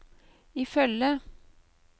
ifølge